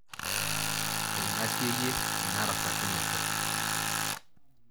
Eingasieyie ina rasakinoto.